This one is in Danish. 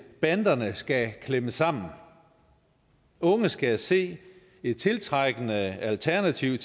banderne skal klemmes sammen unge skal se et tiltrækkende alternativ